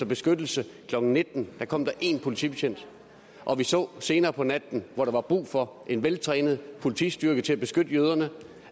beskyttelse klokken nitten da kom der én politibetjent og vi så senere på natten hvor der var brug for en veltrænet politistyrke til at beskytte jøderne